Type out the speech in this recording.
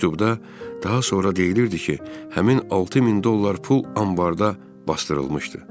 Məktubda daha sonra deyilirdi ki, həmin 6000 dollar pul anbarda basdırılmışdı.